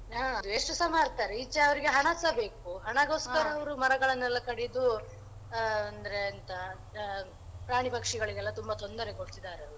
ಹ waste ಸ ಮಾಡ್ತಾರೆ ಈಚೆ ಅವ್ರಿಗೆ ಹಣಸ ಬೇಕು ಹಣಗೋಸ್ಕರ ಅವ್ರು ಮರಗಳನ್ನೆಲ್ಲ ಕಡಿದು ಅಂದ್ರೆ ಎಂತ ಪ್ರಾ~ ಪ್ರಾಣಿ ಪಕ್ಷಿಗಳಿಗೆಲ್ಲ ತುಂಬ ತೊಂದರೆ ಕೊಡ್ತಿದ್ದಾರೆ.